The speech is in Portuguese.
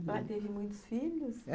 Ela teve muitos filhos?